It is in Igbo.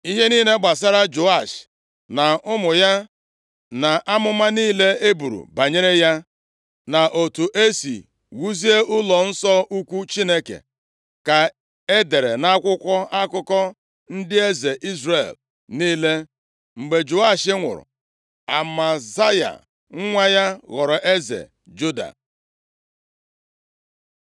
Ihe niile gbasara Joash na ụmụ ya, na amụma niile e buru banyere ya, na otu e si wuzie ụlọnsọ ukwu Chineke, ka e dere nʼakwụkwọ akụkọ ndị eze Izrel niile. Mgbe Joash nwụrụ, Amazaya nwa ya ghọrọ eze Juda.